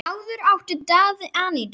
Áður átti Daði Anítu.